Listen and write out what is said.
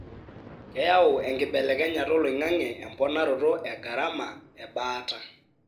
keyau enkibelekenyata oloingange emponaroto egarama ebaata.